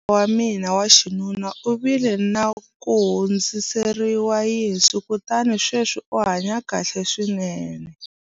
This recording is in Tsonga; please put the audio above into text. kokwana wa mina wa xinuna u vile na ku hundziseriwa yinsu kutani sweswi u hanye kahle swinene